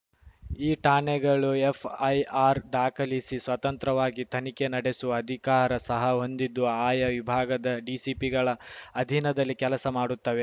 ಈ ಠಾಣೆಗಳು ಎಫ್‌ಐಆರ್‌ ದಾಖಲಿಸಿ ಸ್ವತಂತ್ರವಾಗಿ ತನಿಖೆ ನಡೆಸುವ ಅಧಿಕಾರ ಸಹ ಹೊಂದಿದ್ದು ಆಯಾ ವಿಭಾಗದ ಡಿಸಿಪಿಗಳ ಅಧೀನದಲ್ಲಿ ಕೆಲಸ ಮಾಡುತ್ತವೆ